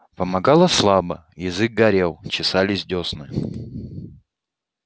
помогало слабо язык горел чесались десны